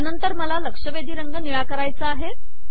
यानंतर मला लक्षवेधी रंग निळा करायचा आहे